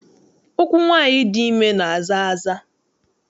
Ụkwụ nwaanyị dị ime na-aza aza.